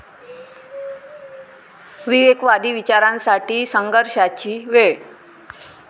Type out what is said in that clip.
विवेकवादी विचारांसाठी संघर्षाची वेळ'